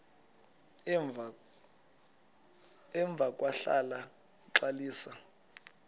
emva kwahlala uxalisa